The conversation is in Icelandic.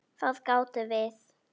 Það gátum við.